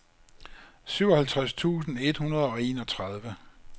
syvoghalvtreds tusind et hundrede og enogtredive